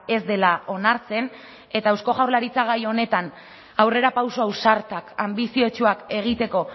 ez dela onartzen eta eusko jaurlaritzak gai honetan aurrerapauso ausartak anbiziotsuak egiteko